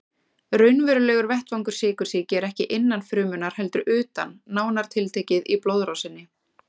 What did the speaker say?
Raunverulegur vettvangur sykursýki er ekki innan frumunnar heldur utan, nánar tiltekið í blóðrásinni.